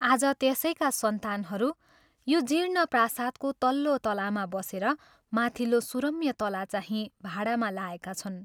आज त्यसैका सन्तानहरू यो जीर्ण प्रासादको तल्लो तलामा बसेर माथिल्लो सुरम्य तलाचाहिं भाडामा लाएका छन्।